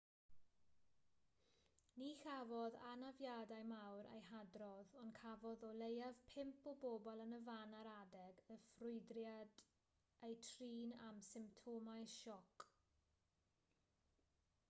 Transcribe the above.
ni chafodd anafiadau mawr eu hadrodd ond cafodd o leiaf pump o bobl yn y fan ar adeg y ffrwydriad eu trin am symptomau sioc